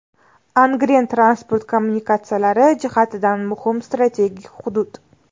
Angren transport kommunikatsiyalari jihatidan muhim strategik hudud.